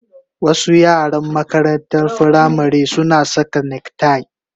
Wasu yaran makarantar firamare suna saka neck tie